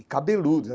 E cabeludos.